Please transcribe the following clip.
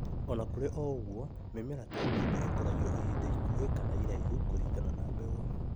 Ona kũrĩ o ũguo, mĩmera ta mbembe ikũragio ihinda ikuhĩ kana iraihu kuringana na mbegũ